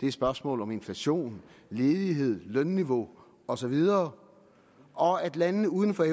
det er spørgsmål om inflation ledighed lønniveau og så videre og at landene uden for